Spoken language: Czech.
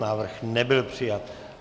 Návrh nebyl přijat.